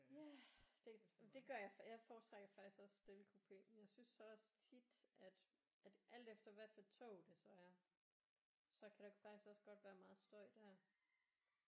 Ja det det gør jeg jeg foretrækker faktisk også stillekupe jeg synes så også tit at at alt efter hvad for et tog det så er så kan der faktisk også godt være meget støj der